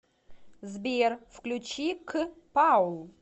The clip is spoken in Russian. сбер включи к паул